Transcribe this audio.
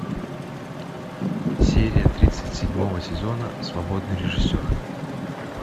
серия тридцать седьмого сезона свободный режиссер